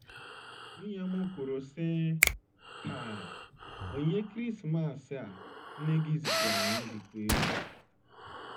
Nwunye m kwuru, sị: “:“ Haa, onyinye Krismas a nne gị ziteere anyị dịkwa egwu. ”